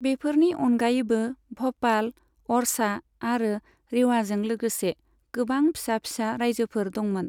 बेफोरनि अनगायैबो भ'पाल, अरछा आरो रेवाजों लोगोसे गोबां फिसा फिसा रायजोफोर दंमोन।